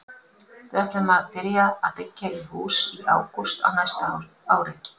Við ætlum að byrja að byggja í hús í ágúst á næsta ári.